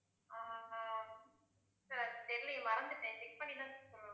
sir தெரியலையே மறந்துட்டேன் check பண்ணி தான் சொல்லணும்.